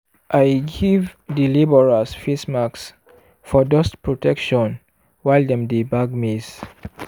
i give di labourers face masks for dust protection while dem dey bag maize.